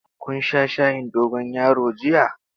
Kun sha shayin dogon yaro jiya?